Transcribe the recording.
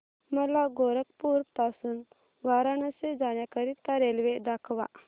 मला गोरखपुर पासून वाराणसी जाण्या करीता रेल्वे दाखवा